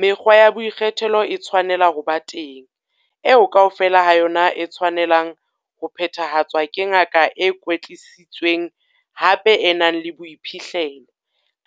"Mekgwa ya boikgethelo e tshwanela ho ba teng, eo kaofela ha yona e tshwanelang ho phethahatswa ke ngaka e kwetlisitsweng, hape e nang le boiphihlelo,